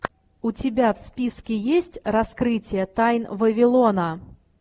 у тебя в списке есть раскрытие тайн вавилона